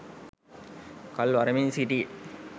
කල් වරමින් සිටියේ